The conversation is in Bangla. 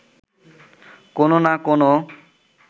কোনো না কোনো